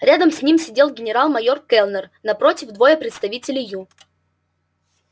рядом с ним сидел генерал-майор кэллнер напротив двое представителей ю